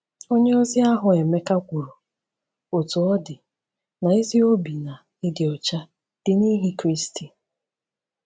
Onye ozi ahụ Emeka kwuru, Otú ọ dị, na “ezi obi na... ịdị ọcha... dị n’ihi Kristi.”